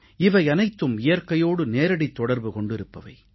இவையனைத்தும் இயற்கையோடு நேரடித் தொடர்பு கொண்டிருப்பவை